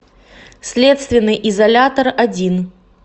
следственный изолятор один